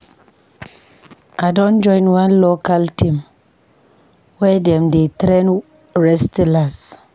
I don join one local team where dem dey train wrestlers.